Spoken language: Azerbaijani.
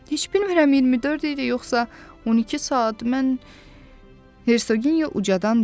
Heç bilmirəm 24 il yoxsa 12 saat, mən Hersogenya ucadan dedi: